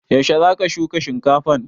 Yaushe za ka shuka shinkafan?